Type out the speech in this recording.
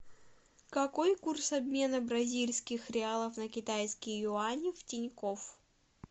какой курс обмена бразильских реалов на китайские юани в тинькофф